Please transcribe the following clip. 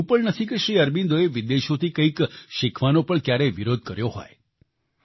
એવું પણ નથી કે શ્રી અરબિંદોએ વિદેશોથી કંઈક શિખવાનો પણ ક્યારેય વિરોધ કર્યો હોય